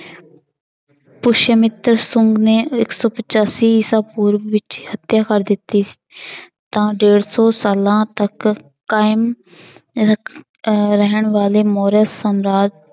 ਮਿੱਤਰ ਸੁੰਗ ਨੇ ਇੱਕ ਸੌ ਪਚਾਸੀ ਈਸਾ ਪੂਰਵ ਵਿੱਚ ਹੱਤਿਆ ਕਰ ਦਿੱਤੀ ਤਾਂ ਡੇਢ ਸੌ ਸਾਲਾਂ ਤੱਕ ਕਾਇਮ ਰੱਖ~ ਅਹ ਰਹਿਣ ਵਾਲੇ ਮੌਰੀਆ ਸਮਰਾਜ